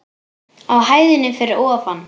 Á hæðinni fyrir ofan.